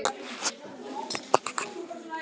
Klúðraði einu sönnunargögnunum og hló bara að því!